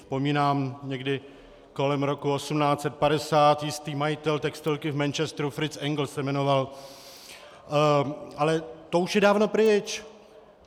Vzpomínám, někdy kolem roku 1850 jistý majitel textilky v Manchesteru Fritz Engels se jmenoval, ale to už je dávno pryč.